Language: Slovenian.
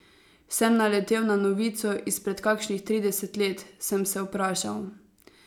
Sem naletel na novico izpred kakšnih trideset let, sem se vprašal.